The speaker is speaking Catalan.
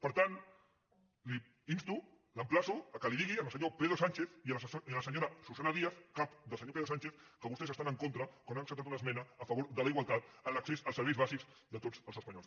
per tant l’insto l’emplaço que li digui al se·nyor pedro sánchez i a la senyora susana díaz cap del senyor pedro sánchez que vostès hi estan en contra quan han acceptat una esmena a favor de la igualtat en l’accés als serveis bàsics de tots els espanyols